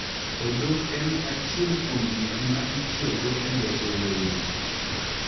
Odok en achiel kuom gik ma itiyogo e loso lewni.